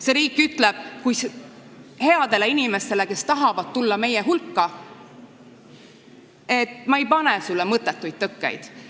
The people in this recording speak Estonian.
See riik ütleb headele inimestele, kes tahavad meie hulka tulla, et ma ei pane sulle mõttetuid tõkkeid.